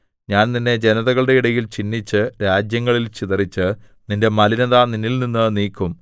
ഞാൻ നിന്നെ ജനതകളുടെ ഇടയിൽ ചിന്നിച്ച് രാജ്യങ്ങളിൽ ചിതറിച്ച് നിന്റെ മലിനത നിന്നിൽനിന്നു നീക്കും